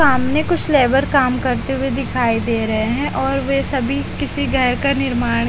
सामने कुछ लेबर काम करते हुए दिखाई दे रहे हैं और वे सभी किसी घर का निर्माण --